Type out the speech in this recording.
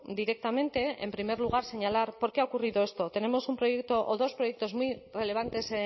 directamente en primer lugar señalar por qué ha ocurrido esto tenemos un proyecto o dos proyectos muy relevantes